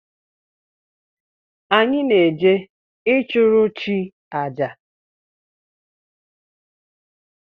Anyị na-eje ịchụrụ chi àjà